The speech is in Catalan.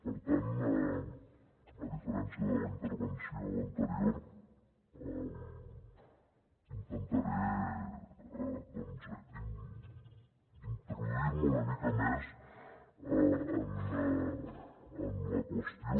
per tant a diferència de la intervenció anterior intentaré doncs introduir me una mica més en la qüestió